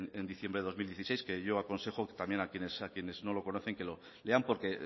en diciembre de dos mil dieciséis que yo aconsejo también a quienes no lo conocen que lo lean porque